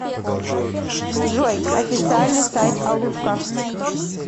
джой официальный сайт алупка